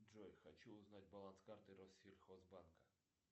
джой хочу узнать баланс карты россельхозбанка